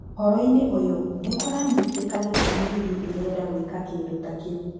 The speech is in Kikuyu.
Ũhoro-inĩ ũyũ nĩ kũranyitĩka gĩtũmi rigi ĩrenda gwĩka kĩndũ ta kĩu.